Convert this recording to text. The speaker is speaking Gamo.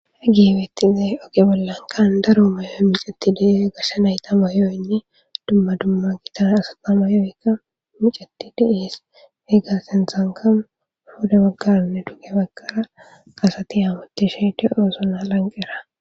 hagey betizey oge bollankan daro mayoy micati de'es, gashe nayta mayoynne dumma dumma gita asata mayooykka micati de'es .heggasentanka puda baggaranne duge bagkara asati hamutishe de'osona lanqera.